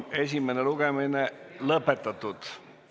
Esimene lugemine on lõpetatud.